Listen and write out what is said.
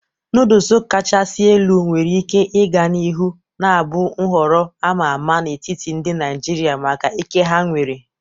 Nodulu kachasị elu nwere ike ịga n'ihu na-abụ nhọrọ a ma ama n'etiti ndị Naijiria maka ike ha nwere.